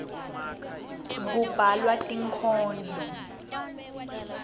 kubhalwa tinkhondlo